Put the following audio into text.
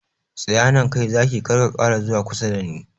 Tsaya nan kai Zaki, kar ka ƙara zuwa kusa dani!